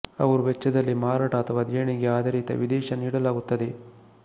ಅವರು ವೆಚ್ಚದಲ್ಲಿ ಮಾರಾಟ ಅಥವಾ ದೇಣಿಗೆ ಆಧಾರಿತ ವಿದೇಶ ನೀಡಲಾಗುತ್ತದೆ